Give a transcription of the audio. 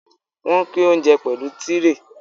Wọ́n pín óńjẹ pẹ̀lú tírè.